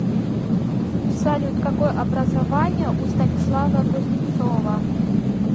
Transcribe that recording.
салют какое образование у станислава кузнецова